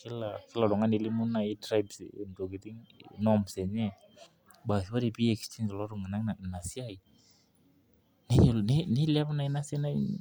kila oltung'ani nelimu naji tribes entokitin norms enye baas ore pee ii exchange iltung'ana ina siai neilep naa ina siai.